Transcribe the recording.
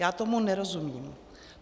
Já tomu nerozumím.